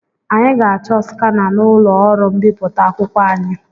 Anyị ga-achọ skana n'ụlọ ọrụ mbipụta akwụkwọ anyị.